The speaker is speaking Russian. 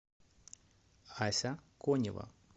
ася конева